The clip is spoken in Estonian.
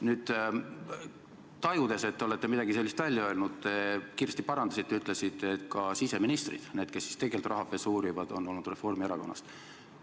Nüüd, tajudes, et te olete midagi sellist välja öelnud, te kiiresti parandasite ja ütlesite, et ka siseministrid, need, kes siis tegelikult rahapesu uurivad, on olnud Reformierakonnast.